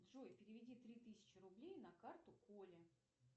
джой переведи три тысячи рублей на карту коле